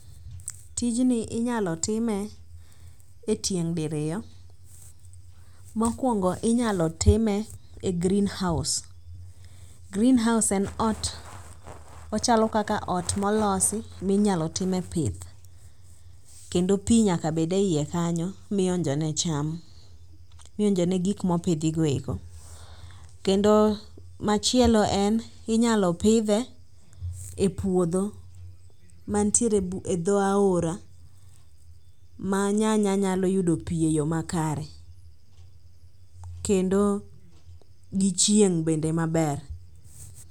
Tijni inyalo time e tieng' diriyo. Mokwongo inyalo time e greenhouse. Greenhouse en ot ,ochalo kaka ot molosi minyalo time pith. Kendo pi nyaka bed e iye kanyo, mionjo ne cham, mionjone gik mopidhi go eko. Kendo machielo en ,inyalo pidhe e puodho mantiere e dho aora ma nyanya nyalo yudo pi e yo makare. Kendo gichieng' bende maber.